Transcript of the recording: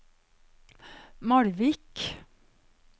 Malvik